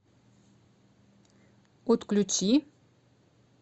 отключи